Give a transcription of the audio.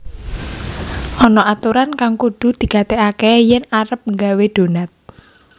Ana aturan kang kudu digatégaké yèn arep nggawé donat